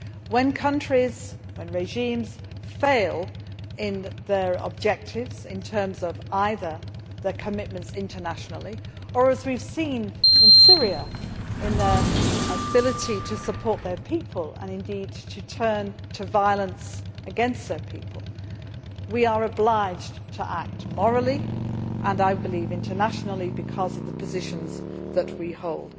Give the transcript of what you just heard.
When countries and regimes fail in their objectives in terms of either their commitments internationally or, as we have seen in Syria, their ability to support their people and when, indeed, they turn to violence against their people, we are obliged to act, both morally and, I believe, internationally because of the positions that we hold.